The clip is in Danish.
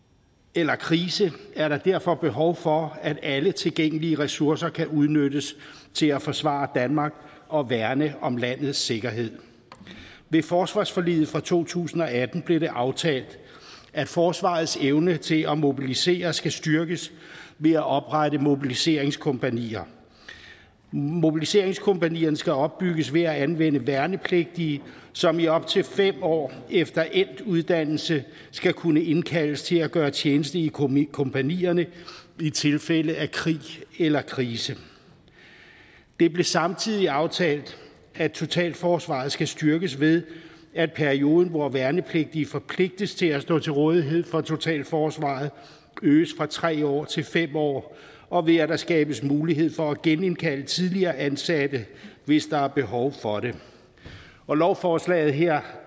eller krise er der derfor behov for at alle tilgængelige ressourcer kan udnyttes til at forsvare danmark og værne om landets sikkerhed ved forsvarsforliget fra to tusind og atten blev det aftalt at forsvarets evne til at mobilisere skal styrkes ved at oprette mobiliseringskompagnier mobiliseringskompagnierne skal opbygges ved at anvende værnepligtige som i op til fem år efter endt uddannelse skal kunne indkaldes til at gøre tjeneste i kompagnierne i tilfælde af krig eller krise det blev samtidig aftalt at totalforsvaret skal styrkes ved at perioden hvor værnepligtige forpligtes til at stå til rådighed for totalforsvaret øges fra tre år til fem år og ved at der skabes mulighed for at genindkalde tidligere ansatte hvis der er behov for det og lovforslaget her